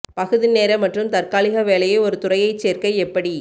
பகுதி நேர மற்றும் தற்காலிக வேலையை ஒரு துறையைச் சேர்க்க எப்படி